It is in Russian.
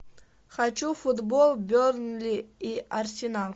хочу футбол бернли и арсенал